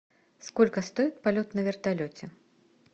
сколько стоит полет на вертолете